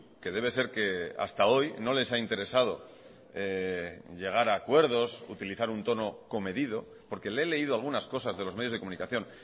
que debe ser que hasta hoy no les ha interesado llegar a acuerdos utilizar un tono comedido porque le he leído algunas cosas de los medios de comunicación